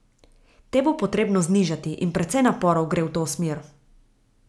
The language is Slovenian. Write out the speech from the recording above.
Te bo potrebno znižati, in precej naporov gre v to smer.